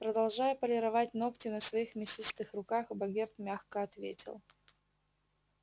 продолжая полировать ногти на своих мясистых руках богерт мягко ответил